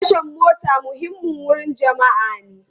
Tashan mota muhimmin wurin jama'a ne.